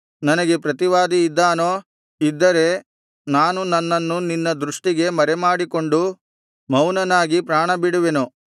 ನನಗೆ ಪ್ರತಿವಾದಿ ಇದ್ದಾನೋ ಇದ್ದರೆ ನಾನು ನನ್ನನ್ನು ನಿನ್ನ ದೃಷ್ಟಿಗೆ ಮರೆಮಾಡಿಕೊಂಡು ಮೌನನಾಗಿ ಪ್ರಾಣಬಿಡುವೆನು